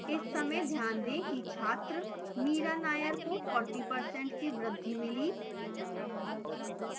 इस समय ध्यान दें कि छात्र mira nair को 40% की वृद्धि मिली